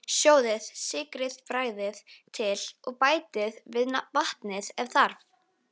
Sjóðið, sykrið, bragðið til og bætið við vatni ef þarf.